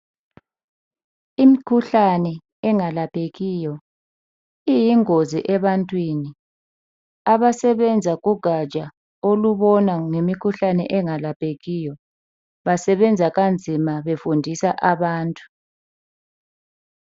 Imkhuhlane engalaphekiyo iyingozi ebantwini abasebenza kugatsha olubona ngemikhuhlane engalaphekiyo. Basebenza kanzima befundisa abantu.